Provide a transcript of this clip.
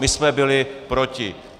My jsme byli proti.